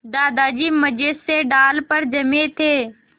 दादाजी मज़े से डाल पर जमे थे